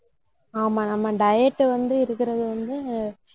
ஆமா நம்ம diet வந்து இருக்கிறது வந்து